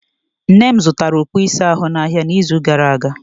Nne m zụtara okpu ịsa ahụ n'ahịa n'izu gara aga.